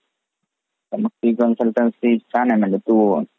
छान आहे म्हणजे तू